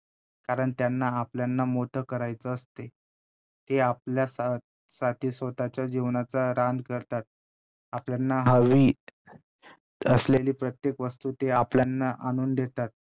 कारण त्यांना आपल्यांना मोठं करायच असते. ते आपल्या सा~ साठी स्वतःच्या जीवनाच रान करतात. आपल्यांना हवी असलेली प्रत्येक वस्तू ते आपल्यांना आणून देतात.